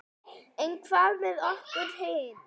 En hvað með okkur hin?